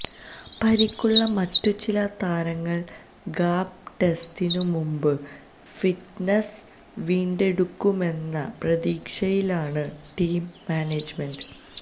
പരിക്കുള്ള മറ്റു ചില താരങ്ങള് ഗാബ ടെസ്റ്റിനു മുമ്പ് ഫിറ്റ്നസ് വീണ്ടെടുക്കുമെന്ന പ്രതീക്ഷയിലാണ് ടീം മാനേജ്മെന്റ്